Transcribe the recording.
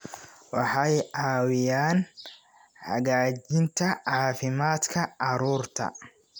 Waxay caawiyaan hagaajinta caafimaadka carruurta.